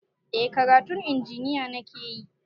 Eh karatun injiniya nakeyi